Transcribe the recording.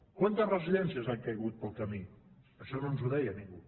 quantes residències han caigut pel camí això no ens ho deia ningú